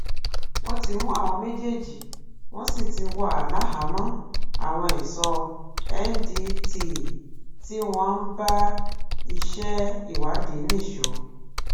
wọn ti mú àwọn méjèèjì wọn sì ti wà láhàámọ àwọn ẹṣọ ndtea tí wọn ń bá iṣẹ ìwádìí nìṣó